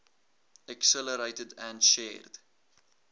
accelerated and shared